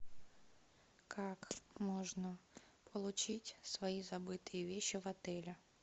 как можно получить свои забытые вещи в отеле